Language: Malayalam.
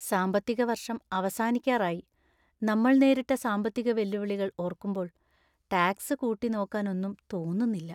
സാമ്പത്തിക വർഷം അവസാനിക്കാറായി. നമ്മൾ നേരിട്ട സാമ്പത്തിക വെല്ലുവിളികൾ ഓർക്കുമ്പോൾ ടാക്സ് കൂട്ടിനോക്കാനൊന്നും തോന്നുന്നില്ല.